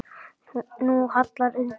Nú hallar undan fæti.